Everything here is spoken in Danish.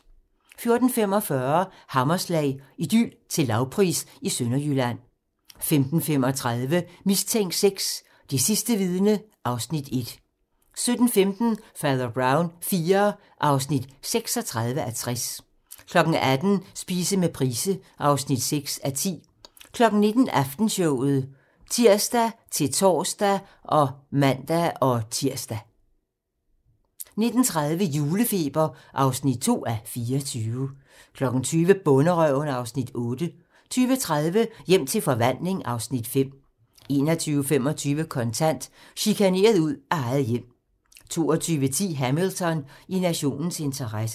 14:45: Hammerslag - Idyl til lavpris i Sønderjylland 15:35: Mistænkt VI: Det sidste vidne (Afs. 1) 17:15: Fader Brown IV (36:60) 18:00: Spise med Price (6:10) 19:00: Aftenshowet (ons-tor og man-tir) 19:30: Julefeber (2:24) 20:00: Bonderøven (Afs. 8) 20:30: Hjem til forvandling (Afs. 5) 21:25: Kontant: Chikaneret ud af eget hjem 22:10: Hamilton: I nationens interesse